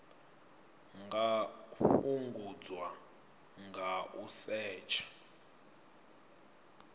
nga fhungudzwa nga u setsha